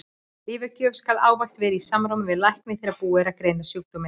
Lyfjagjöf skal ávallt vera í samráði við lækni þegar búið er að greina sjúkdóminn.